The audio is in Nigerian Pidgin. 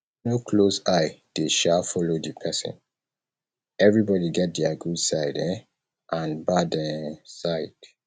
no close eye de um follow di persin everybody get their good side um and bad um side